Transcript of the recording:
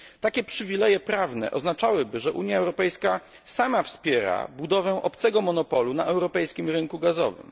Takie przywileje prawne oznaczałyby, że Unia Europejska sama wspiera budowę obcego monopolu na europejskim rynku gazowym.